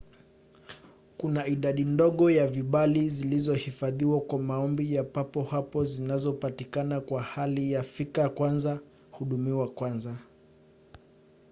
kuna idadi ndogo ya vibali zilizohifadhiwa kwa maombi ya papo hapo zinazopatikana kwa hali ya fika kwanza hudumiwa kwanza